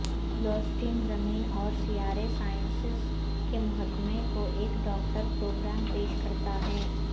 بلواسٹین زمین اور سیارے سائنسز کے محکمے کو ایک ڈاکٹر پروگرام پیش کرتا ہے